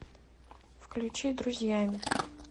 включи друзьями